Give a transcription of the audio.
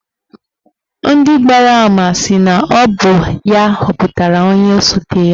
Ndị gbara ama sị na ọ bụ ya họpụtara onye osote ya.